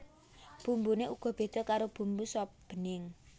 Bumbuné uga béda karo bumbu sop bening